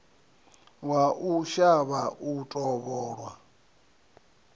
wa u shavha u tovholwa